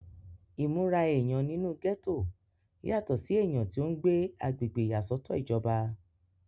ìmúra èèyàn nínú gẹ́tò yàtọ̀ sí èèyàn tí ó ń gbé agbègbè ìyàsọ́tọ̀ ìjọba